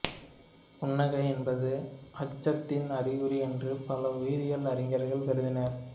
புன்னகை என்பது அச்சத்தின் அறிகுறி என்று பல உயிரியல் அறிஞர்கள் கருதினர்